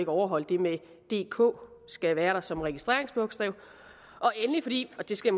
overholde det med at dk skal være der som registreringsbogstaver og endelig fordi og det skal